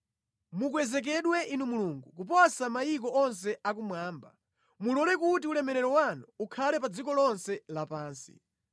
Mukwezekedwe Inu Mulungu, kuposa mayiko onse akumwamba; mulole kuti ulemerero wanu ukhale pa dziko lonse lapansi.